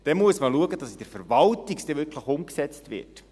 Dann muss man schauen, dass es auch wirklich umgesetzt wird.